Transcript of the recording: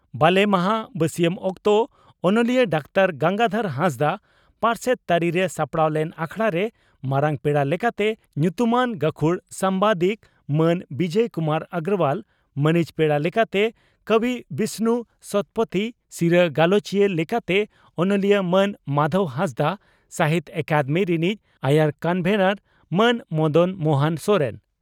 ᱵᱟᱞᱮ ᱢᱟᱦᱟᱸ ᱵᱟᱹᱥᱤᱭᱟᱢ ᱚᱠᱛᱚ ᱚᱱᱚᱞᱤᱭᱟᱹ ᱰᱟᱠᱛᱟᱨ ᱜᱚᱝᱜᱟᱫᱷᱚᱨ ᱦᱟᱸᱥᱫᱟᱜ ᱯᱟᱨᱥᱮᱛ ᱛᱟᱹᱨᱤᱨᱮ ᱥᱟᱯᱲᱟᱣ ᱞᱮᱱ ᱟᱠᱷᱲᱟᱨᱮ ᱢᱟᱨᱟᱝ ᱯᱮᱲᱟ ᱞᱮᱠᱟᱛᱮ ᱧᱩᱛᱩᱢᱟᱱ ᱜᱟᱹᱠᱷᱩᱲ ᱥᱟᱢᱵᱟᱫᱤᱠ ᱢᱟᱱ ᱵᱤᱡᱚᱭ ᱠᱩᱢᱟᱨ ᱚᱜᱨᱚᱣᱟᱞ, ᱢᱟᱹᱱᱤᱡ ᱯᱮᱲᱟ ᱞᱮᱠᱟᱛᱮ ᱠᱚᱵᱤ ᱵᱤᱥᱱᱩ ᱥᱚᱛᱯᱚᱛᱷᱤ, ᱥᱤᱨᱟᱹ ᱜᱟᱞᱚᱪᱤᱭᱟᱹ ᱞᱮᱠᱟᱛᱮ ᱚᱱᱚᱞᱤᱭᱟᱹ ᱢᱟᱱ ᱢᱟᱫᱷᱚᱵᱽ ᱦᱟᱸᱥᱫᱟᱜ, ᱥᱟᱦᱤᱛᱭᱚ ᱟᱠᱟᱫᱮᱢᱤ ᱨᱤᱱᱤᱡ ᱟᱭᱟᱨ ᱠᱚᱱᱵᱷᱮᱱᱚᱨ ᱢᱟᱱ ᱢᱚᱫᱚᱱ ᱢᱚᱦᱚᱱ ᱥᱚᱨᱮᱱ